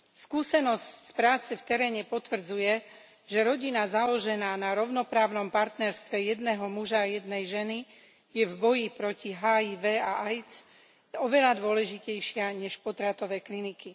Skúsenosť z práce v teréne potvrdzuje, že rodina založená na rovnoprávnom partnerstve jedného muža a jednej ženy je v boji proti HIV a AIDS oveľa dôležitejšia než potratové kliniky.